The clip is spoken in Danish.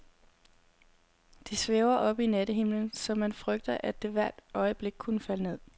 Det svæver oppe i nattehimlen, så man frygter, at det hvert øjeblik kunne falde ned.